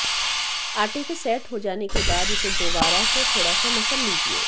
आटे के सैट हो जाने के बाद इसे दोबारा से थोड़ा सा मसल लीजिए